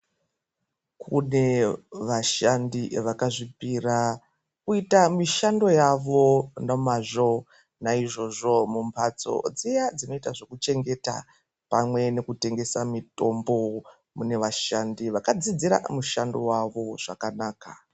Kune vashandi vakazvipira kuite mishando yavo nemazvo, naizvozvo mumhatso dziya dzinoita zvekuchengeta pamwe nekutengesa mitombo mune vashandi vakadziidzira mushando wavo zvakanaka.